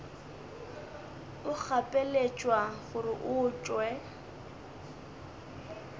o gapeletšwa gore o tšwe